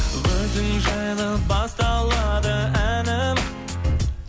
өзің жайлы басталады әнім